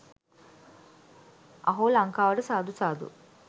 අහෝ ලන්කාවට සාදු සාදු.